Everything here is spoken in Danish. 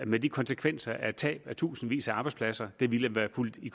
med den konsekvens at tabt i tusindvis af arbejdspladser ville være fulgt i